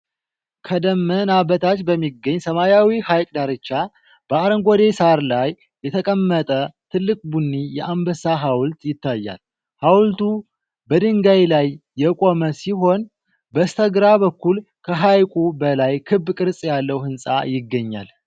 ከደመና በታች በሚገኝ ሰማያዊ ሐይቅ ዳርቻ፣ በአረንጓዴ ሳር ላይ የተቀመጠ ትልቅ ቡኒ የአንበሳ ሐውልት ይታያል። ሐውልቱ በድንጋይ ላይ የቆመ ሲሆን፣ በስተግራ በኩል ከሐይቁ በላይ ክብ ቅርጽ ያለው ህንፃ ይገኛል።